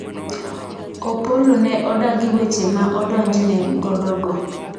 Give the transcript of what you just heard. Opollo ne odagi weche ma odonjne godo go